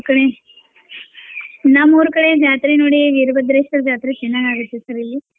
ಈ ಕಡೆ ನಮ್ಮೂರ ಕಡೆ ಜಾತ್ರೆ ನೋಡಿ ವೀರಭದ್ರೇಶ್ವರ ಜಾತ್ರೆ ಚನಾಗ್ ಆಗುತ್ತೆ sir ಇಲ್ಲಿ .